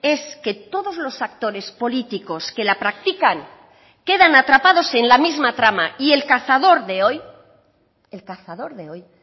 es que todos los actores políticos que la practican quedan atrapados en la misma trama y el cazador de hoy el cazador de hoy